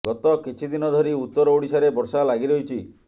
ଗତ କିଛି ଦିନ ଧରି ଉତ୍ତର ଓଡ଼ିଶାରେ ବର୍ଷା ଲାଗି ରହିଛି